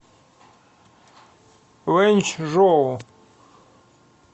вэньчжоу